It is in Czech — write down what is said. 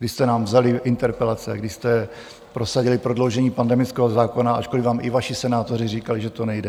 Kdy jste nám vzali interpelace, kdy jste prosadili prodloužení pandemického zákona, ačkoliv vám i vaši senátoři říkali, že to nejde.